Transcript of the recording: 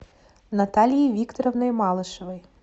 натальей викторовной малышевой